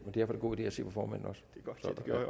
en god idé at se på formanden også